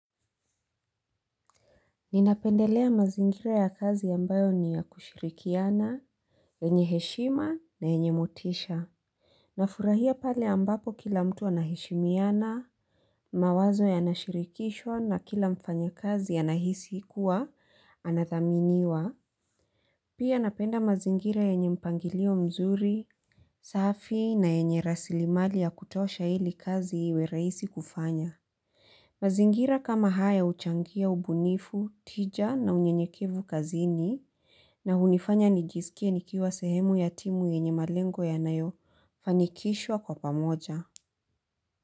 Ninapendelea mazingira ya kazi ambayo ni ya kushirikiana, yenye heshima na yenye motisha. Nafurahia pale ambapo kila mtu anaheshimiana, mawazo yanashirikishwa na kila mfanyakazi anahisi kuwa anathaminiwa. Pia napenda mazingira yenye mpangilio mzuri, safi na yenye rasilimali ya kutosha ili kazi iwe rahisi kufanya. Mazingira kama haya huchangia ubunifu, tija na unyenyekevu kazini na hunifanya nijiskie nikiwa sehemu ya timu yenye malengo yanayofanikishwa kwa pamoja.